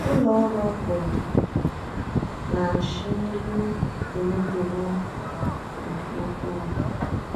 Ụlọ ọrụ oporo na nshị elu emetụwo nke ukwuu.